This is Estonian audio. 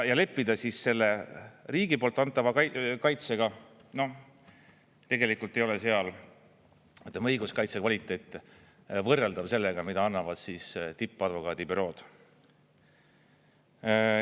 Ja leppida selle riigi poolt antava kaitsega, noh, tegelikult ei ole seal, ütleme, õiguskaitse kvaliteet võrreldav sellega, mida annavad tippadvokaadibürood.